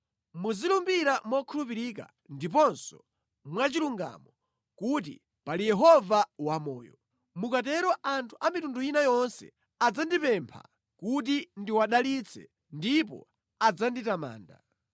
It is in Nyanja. Muzilumbira mokhulupirika ndiponso mwa chilungamo kuti, ‘Pali Yehova wamoyo.’ Mukatero anthu a mitundu ina yonse adzandipempha kuti ndiwadalitse ndipo adzanditamanda.”